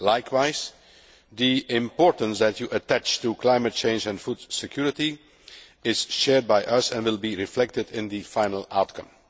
Likewise, the importance that you attach to climate change and food security is shared by us and will be reflected in the final outcome.